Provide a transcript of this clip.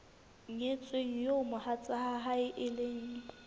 nyetsweng eo mohatsae e leng